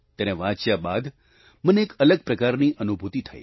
તેને વાંચ્યા બાદ મને એક અલગ પ્રકારની જ અનુભૂતિ થઈ